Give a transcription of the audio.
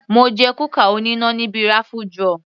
Mo jẹ kúkà oníná níbi raffle draw.